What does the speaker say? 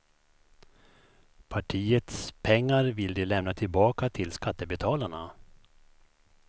Partiets pengar vill de lämna tillbaka till skattebetalarna.